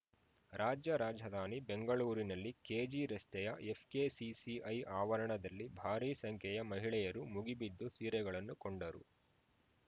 ರಾಜ್ಯ ರಾಜಧಾನಿ ಬೆಂಗಳೂರಿನಲ್ಲಿ ಕೆಜಿರಸ್ತೆಯ ಎಫ್‌ಕೆಸಿಸಿಐ ಆವರಣದಲ್ಲಿ ಭಾರಿ ಸಂಖ್ಯೆಯ ಮಹಿಳೆಯರು ಮುಗಿಬಿದ್ದು ಸೀರೆಗಳನ್ನು ಕೊಂಡರು